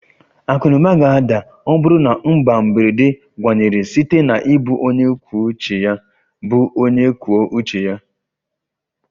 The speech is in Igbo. Akụ na ụba ga-ada ma ọ bụrụ na mba na mberede gbanwere site na ịbụ onye kwuo uche ya ịbụ onye kwuo uche ya